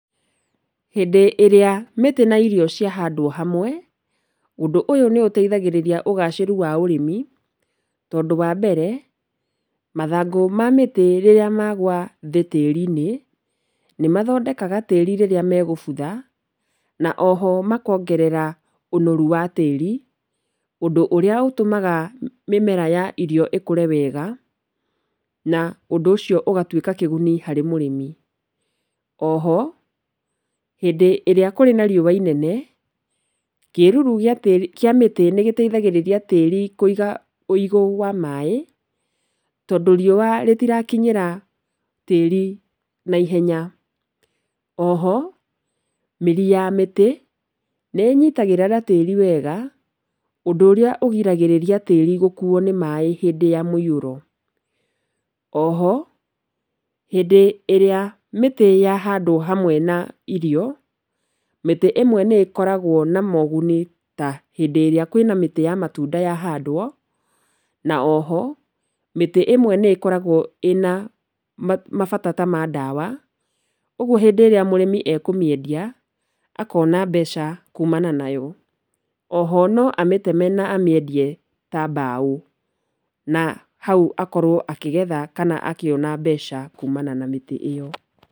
Hĩndĩ ĩrĩa mĩtĩ na irio ciahandwo hamwe ũndũ ũyũ nĩũteithagia ũgacĩru wa ũrĩmi, tondũ wa mbere, mathangũ ma mĩtĩ rĩrĩa magwa thĩ tĩri-inĩ nĩmathondekaga tĩri rĩrĩa megũbutha, na o ho makongerera ũnoru wa tĩri ũndũ ũrĩa ũtũmaga mĩmera ya irio ĩkũre wega na ũndũ ũcio ũgatuĩka kĩguni harĩ mũrĩmi. O ho hĩndĩ ĩrĩa kũrĩ na riũwa inene kĩruru kĩa mĩtĩ nĩgĩteithagĩrĩria tĩri kũiga ũigũ wa maaĩ, tondũ riũa rĩtirakinyĩra tĩri na ihenya. O ho mĩri ya mĩtĩ nĩĩnyitagĩrĩra tĩri wega ũndũ ũrĩa ũnyitagĩrĩra tĩri gũkuo nĩ maaĩ hĩndĩ ya mũihũro. O ho hĩndĩ ĩrĩa mĩtĩ yahandwo hamwe na irio mĩtĩ ĩmwe nĩkoragwo na moguni ta hĩndĩ ĩrĩa kwĩna mĩtĩ ta ya matunda yahandwo. Na o ho mĩtĩ ĩmwe nĩkoragwo ĩna mabata ta ma ndawa koguo hĩndĩ ĩrĩa mũrĩmi akũmĩendia akona mbeca kumana nayo. Na o ho no amĩteme na amĩendie ta mbaũ, na hau akorwo akigetha kana akĩona mbeca kumana na mĩtĩ ĩyo.